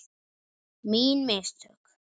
Mín mistök?